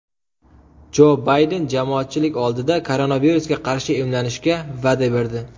Jo Bayden jamoatchilik oldida koronavirusga qarshi emlanishga va’da berdi.